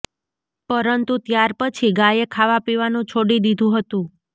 પરંતુ ત્યાર પછી ગાયે ખાવા પીવાનું છોડી દીધું હતું